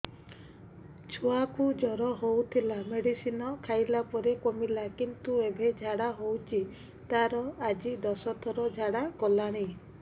ଛୁଆ କୁ ଜର ହଉଥିଲା ମେଡିସିନ ଖାଇଲା ପରେ କମିଲା କିନ୍ତୁ ଏବେ ଝାଡା ହଉଚି ତାର ଆଜି ଦଶ ଥର ଝାଡା କଲାଣି